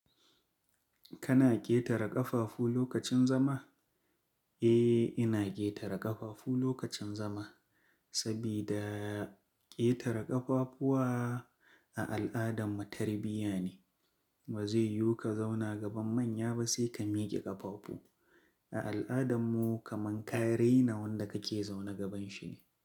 Kana ƙetare ƙafafu lokacin zama? Eh, ina ƙetare ƙafafu lokacin zama. Saboda ƙetare ƙafafuwa a al'adar mu tarbiyya ne. Ba zai yiwu ka zauna gaban manya ba sai ka miƙe ƙafafu. A al'adarmu kaman ka raina wanda kake zaune gaban shi ne.